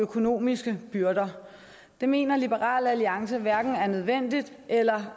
økonomiske byrder det mener liberal alliance hverken er nødvendigt eller